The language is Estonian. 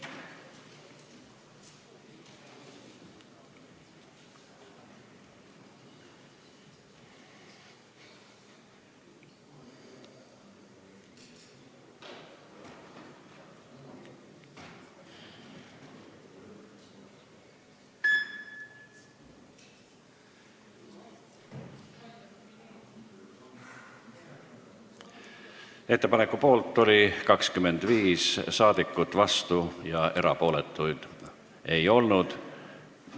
Hääletustulemused Ettepaneku poolt oli 25 saadikut, vastuolijaid ja erapooletuid ei olnud.